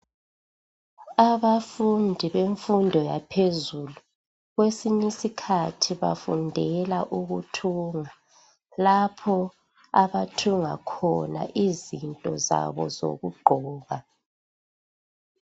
Abafundi bemfundo yaphezulu kwesinyisikhathi bafundela ukuthunga lapho abathunga khona izinto zabo zokugqoka